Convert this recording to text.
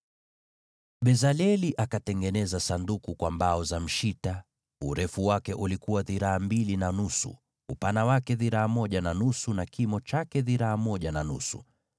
Bezaleli akatengeneza Sanduku la mbao za mshita: urefu wake ulikuwa dhiraa mbili na nusu, upana wake dhiraa moja na nusu, na kimo chake dhiraa moja na nusu.